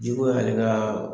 Juru y'ale ka